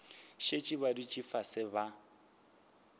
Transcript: šetše ba dutše fase ba